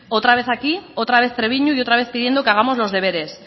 otra vez aquí otra vez trebiñu y otra vez pidiendo que hagamos los deberes